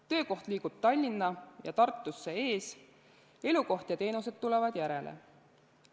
Töökoht liigub Tallinna ja Tartusse ees, elukoht ja teenused tulevad järele.